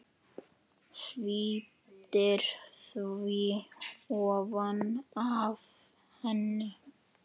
Sviptir því ofan af henni.